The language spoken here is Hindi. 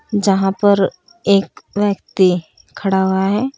जहां पर एक व्यक्ति खड़ा हुआ है।